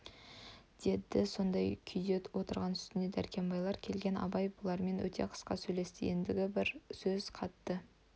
деді сондай кұйде отырған үстіне дәркембайлар келген абай бұлармен өте қысқа сөйлесті ендігі бар сөз қатты